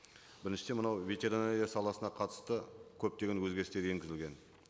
біріншіден мынау ветеринария саласына қатысты көптеген өзгерістер енгізілген